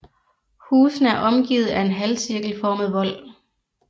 Husene er omgivet af en halvcirkelformet vold